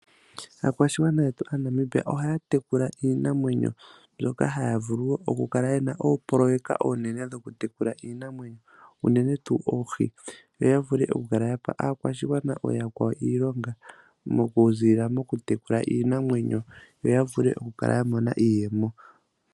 Aakwashigwana yetu Aanamibia ohaya tekula iinamwenyo mbyoka haya vulu wo oku kala yena oopoloyeka oonene dhoku tekula iinamwenyo uunene tuu oohi. Yo ya vule oku kala ya gandja kaakwashigwana ooyakwawo iilonga oku zilila moku tekula iinamwenyo yo ya vule oku kala ya mona iiyemo.